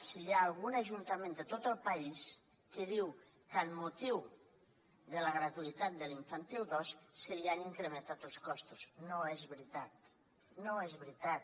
si hi ha algun ajuntament de tot el país que diu que amb motiu de la gratuïtat de l’infantil dos se li han incrementat els costos no és veritat no és veritat